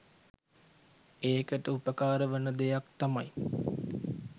ඒකට උපකාර වන දෙයක් තමයි